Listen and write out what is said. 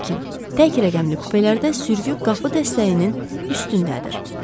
Lakin tək rəqəmli kupelərdə sürgü qapı dəstəyinin üstündədir.